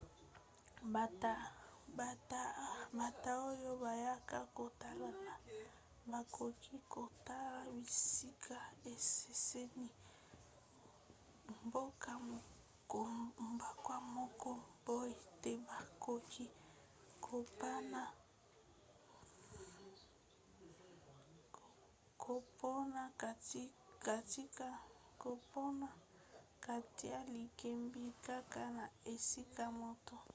bata oyo bayaka kotala bakoki kotala bisika ekeseni na mboka moko boye to bakoki kopona kotia likebi kaka na esika moko